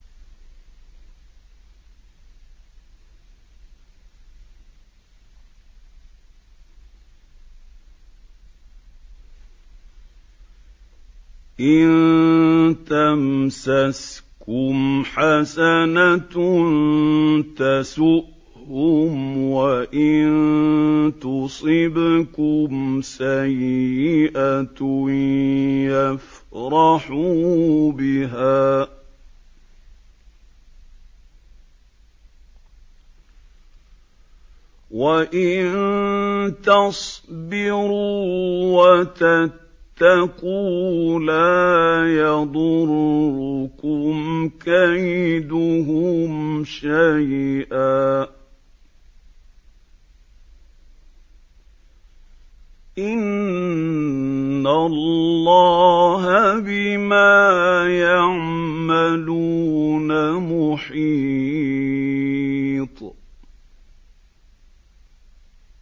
إِن تَمْسَسْكُمْ حَسَنَةٌ تَسُؤْهُمْ وَإِن تُصِبْكُمْ سَيِّئَةٌ يَفْرَحُوا بِهَا ۖ وَإِن تَصْبِرُوا وَتَتَّقُوا لَا يَضُرُّكُمْ كَيْدُهُمْ شَيْئًا ۗ إِنَّ اللَّهَ بِمَا يَعْمَلُونَ مُحِيطٌ